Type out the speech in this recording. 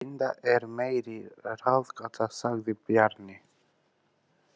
Linda er meiri ráðgáta, sagði Bjarni.